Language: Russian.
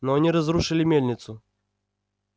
но они разрушили мельницу